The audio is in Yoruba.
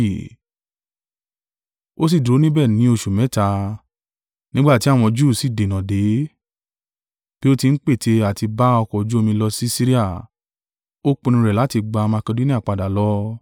Ó sì dúró níbẹ̀ ní oṣù mẹ́ta, nígbà tí àwọn Júù sì dènà dè é, bí ó ti ń pète àti bá ọkọ̀ ojú omi lọ sí Siria, ó pinnu rẹ̀ láti gbà Makedonia padà lọ.